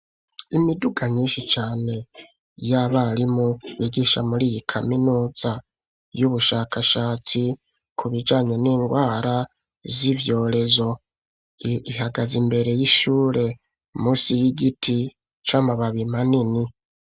Imiduga myinshi cane y'abarimu bigisha muri iyi kaminuza y'ubushakashatsi, ku bijanye n'indwara z'ivyoherezo. Ihagaze imbere y'ishure munsi y'igiti c'amababi manini.